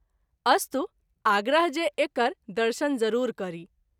अस्तु आग्रह जे एकर दर्शन जरूर करी।